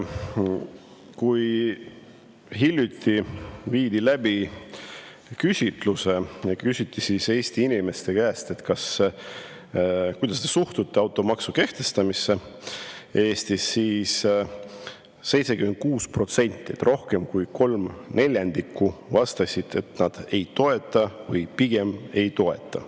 Kui hiljuti viidi läbi küsitlus ja küsiti Eesti inimeste käest, kuidas te suhtute automaksu kehtestamisse Eestis, siis 76% ehk rohkem kui kolm neljandikku vastas, et nad ei toeta või pigem ei toeta.